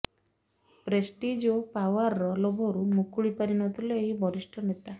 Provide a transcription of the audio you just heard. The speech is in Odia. ପ୍ରେଷ୍ଟିଜ୍ ଓ ପାୱାରର ଲୋଭରୁ ମୁକୁଳି ପାରି ନଥିଲେ ଏହି ବରିଷ୍ଠ ନେତା